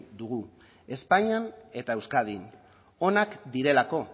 dugu espainian eta euskadin onak direlako